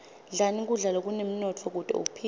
dlani kudla lokunemnotfo kute uphile